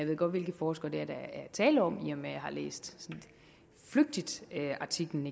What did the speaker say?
ved godt hvilke forskere der er tale om i og med at jeg har læst artiklen